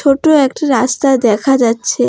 ছোট একটি রাস্তা দেখা যাচ্ছে।